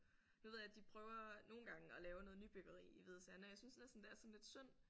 Nu ved jeg de prøver nogle gange at lave noget nybyggeri i Hvide Sande og jeg synes næsten det er sådan lidt synd